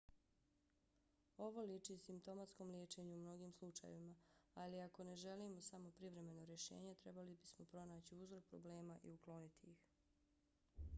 ovo liči simptomatskom liječenju u mnogim slučajevima. ali ako ne želimo samo privremeno rješenje trebali bismo pronaći uzrok problema i ukloniti ih